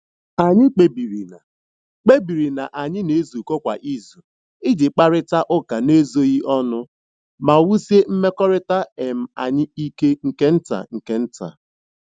Anyị kpebiri na kpebiri na anyị na-ezukọ kwa izu iji kparịta ụka n'ezoghị ọnụ ma wusie mmekọrịta um anyị ike nke nta nke nta.